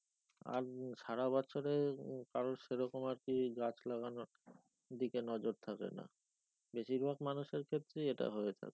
আর সারা বছরে কারোর সেরকম আর কি গাছ লাগানোর দিকে নজর থাকে না বেশিরভাগ মানুষের ক্ষেত্রে এটা হয়ে থাকে।